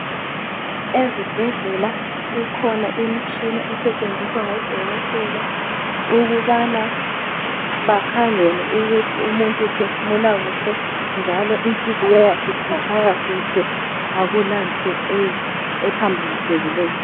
Ezibhedlela ikhona imtshina esetshenziswa ngo dokotela ukubana bakhangele ukuthi umuntu uphefumula kuhle njalo inhliziyo yakhe itshaya kuhle akulanto ephambanisekileyo.